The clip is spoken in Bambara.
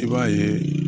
I b'a ye